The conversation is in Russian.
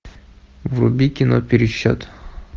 вруби кино пересчет